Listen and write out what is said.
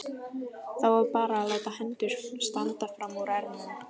Þá var bara að láta hendur standa frammúr ermum.